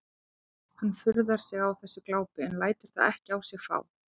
Hann furðar sig á þessu glápi en lætur það ekki á sig fá.